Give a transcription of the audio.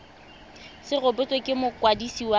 se rebotswe ke mokwadisi wa